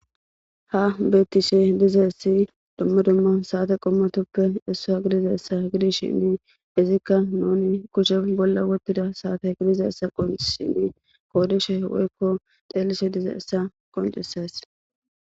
Ha bettishe diza essi dumma dumma saate qommatoppe essaa gidiza essa gidishinni izikka nuni kushe bolla wottida saate gidiza essa qon shinni koodishe woykko xeelishe diza essa qoncisas